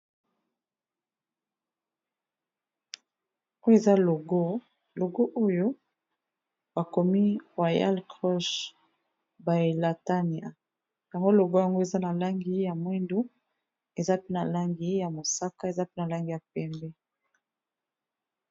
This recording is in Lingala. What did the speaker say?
Oyo eza logo, logo oyo ba komi royal cruch bailatania .Na moni logo yango eza na langi ya moyindo, eza pe na langi ya mosaka, eza pena langi ya pembe .